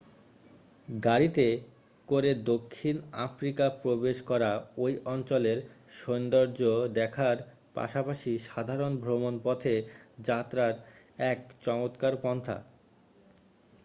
গাড়িতে করে দক্ষিণ আফ্রিকা প্রবেশ করা ঐ অঞ্চলের সৌন্দর্য্য দেখার পাশাপাশি সাধারণ ভ্রমণ পথে যাত্রার এক চমৎকার পন্থা